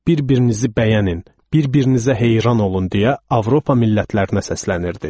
Bir-birinizi bəyənin, bir-birinizə heyran olun deyə Avropa millətlərinə səslənirdi.